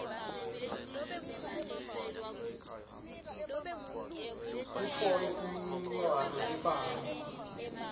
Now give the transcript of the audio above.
utfole imininingwane lebanti